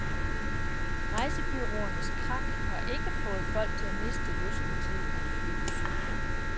Rejsebureauernes krak har ikke fået folk til at miste lysten til at flyve sydpå.